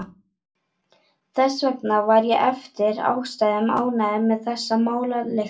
Þess vegna var ég eftir ástæðum ánægður með þessar málalyktir.